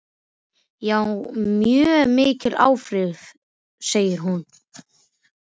Já, mjög mikil áhrif, segir hún.